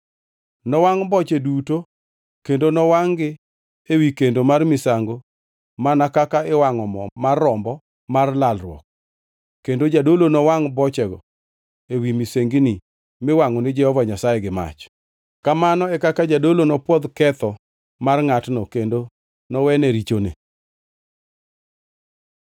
Nowangʼ boche duto kendo nowangʼ-gi ewi kendo mar misango mana kaka iwangʼo mo mar rombo mar lalruok, kendo jadolo nowangʼ bochego ewi misengini miwangʼo ni Jehova Nyasaye gi mach. Kamano e kaka jadolo nopwodh ketho mar ngʼatno kendo nowene richone.